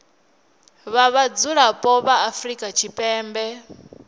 vha vhadzulapo vha afrika tshipembe